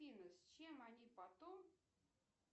афина с чем они потом